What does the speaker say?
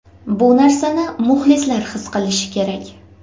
Bu narsani muxlislar his qilishi kerak.